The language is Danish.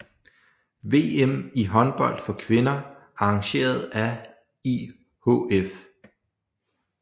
VM i håndbold for kvinder arrangeret af IHF